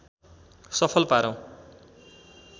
सफल पारौँ